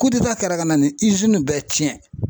kɛra ka na ni bɛɛ tiɲɛ